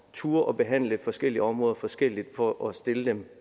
turde behandle forskellige områder forskelligt for at stille dem